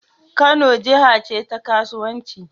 Kano jaha ce ta ƙasauwanci